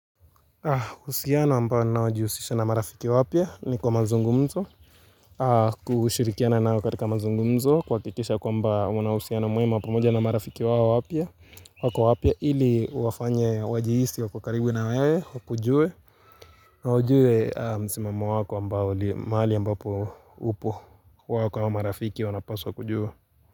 Uhusiano ambao ninao jihusisha na marafiki wapia ni kwa mazungumzo kushirikiana nao katika mazungumzo kuhakikisha kwamba una uhusiano mwema pamoja na marafiki wao wapya wako wapya ili uwafanye wajihisi wako karibu na wewe wakujue na wajue msimamo wako ambao mahali ambapo upo wako wa marafiki wanapswa wakujua.